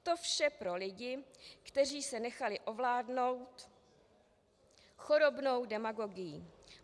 To vše pro lidi, kteří se nechali ovládnout chorobnou demagogií.